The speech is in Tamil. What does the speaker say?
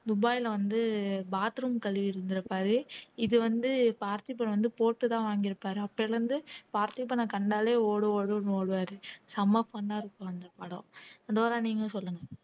துபாய்ல வந்து bathroom கழுவி இருந்திருப்பாரு இது வந்து பார்த்திபன் வந்து போட்டுதான் வாங்கியிருப்பாரு அப்பிலிருந்து பார்த்திபனை கண்டாலே ஓடு ஓடுன்னு ஓடுவாரு செம fun ஆ இருக்கும் அந்த படம் டோரா நீங்க சொல்லுங்க